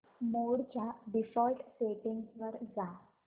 मोड च्या default settings वर जा